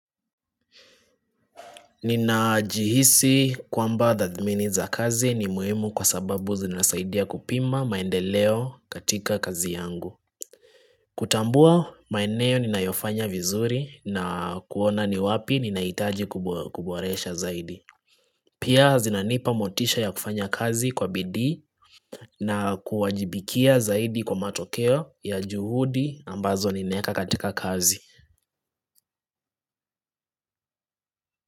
Ninajihisi kwamba dhamini za kazi ni muhimu kwa sababu zinasaidia kupima maendeleo katika kazi yangu kutambua maeneo ninayofanya vizuri na kuona ni wapi ninahitaji kuboresha zaidi Pia zinanipa motisha ya kufanya kazi kwa bidii na kuwajibikia zaidi kwa matokeo ya juhudi ambazo ninaeka katika kazi.